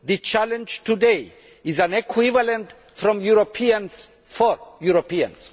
The challenge today is an equivalent from Europeans for Europeans.